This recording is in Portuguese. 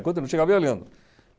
Enquanto ele não chegava, eu ia lendo.